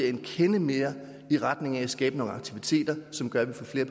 en kende mere i retning af at skabe nogle aktiviteter som gør at vi får flere